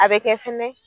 A bɛ kɛ fɛnɛ